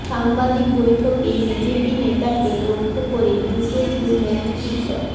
সাংবাদিক বৈঠকে বিজেপি নেতাকে লক্ষ্য করে জুতো ছুড়লেন চিকিৎসক